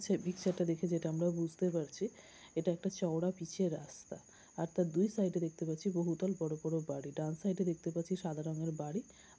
সে পিকচারটা দেখে আমরা যেটা আমরা বুঝতে পারছি এটা একটা চওড়া পিচের রাস্তা আর তার দুই সাইডে দেখতে পাচ্ছি বহুতল বড়ো বড়ো বাড়ি। ডান সাইডে দেখতে পাচ্ছি সাদা রঙের বাড়ি।